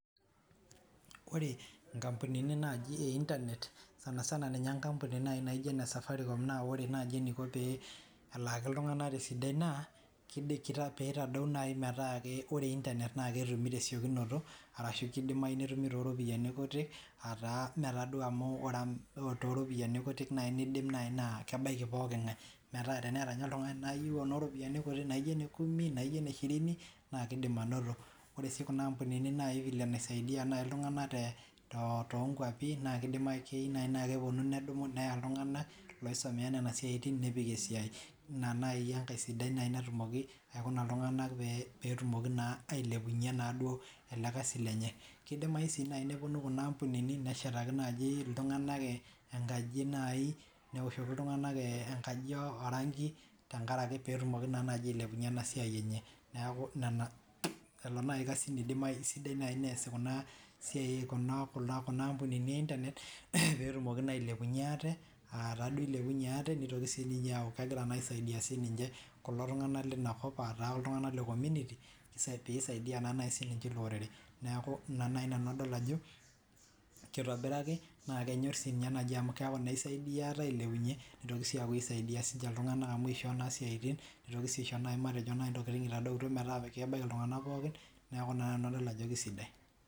ore inkampunini naaji e internet sana sana enkampuni e safaricom naa ore naaji eniko pee elaaki iltung'anak tesidai naa pee itadou metaa ore internet naa ketumi tesiokinoto, arashu kidimayu netumi too ropiyiani kutik naa kidim naaji nebaki pooki ng'ae ooropiyiani kutik naaijo ene kumi , eneshirini, kunaa ampunini naa kisaidia naaji iltung'anak, naakeyieu naaji naa keya iltung'anak ooisomeya inasiai ninye naaji enkae sidai kedimayu naaji neshet enkaji newoshoki iltung'anak orangi pee etumoki ailepunye ena siai enye, pee etumoki naa ailepunye ate nitoki aaku kisaidia kulo tung'anak lenakop, aataa iltung'anak lekominiti neeku ina naaji nanu adol ajo kitobiaki naa kenyor amu keeku isaidia iltung'anak.